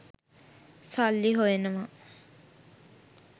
සල්ලි හොයනවා.